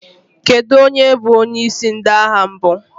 Kedu onye bụ onyeisi ndị agha mbụ?